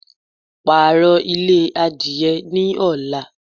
Pààrọ̀ ilé adìye ní ọ̀la